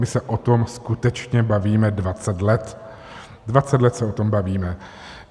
My se o tom skutečně bavíme 20 let, 20 let se o tom bavíme.